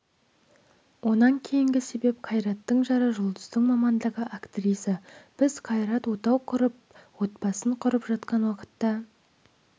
онан кейінгі себеп қайраттың жары жұлдыздың мамандығы актриса біз қайрат отау құрып отбасын құрып жатқан уақытта